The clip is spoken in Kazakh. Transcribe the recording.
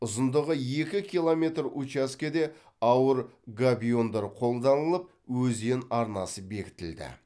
ұзындығы екі километр учаскеде ауыр габиондар қолданылып өзен арнасы бекітілді